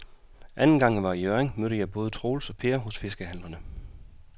Anden gang jeg var i Hjørring, mødte jeg både Troels og Per hos fiskehandlerne.